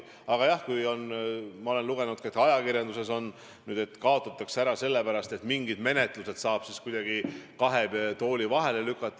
Aga jah, ma olen ka ajakirjandusest lugenud, et nüüd komisjon kaotatakse ära sellepärast, et mingid menetlused saab siis kuidagi kahe tooli vahele lükata.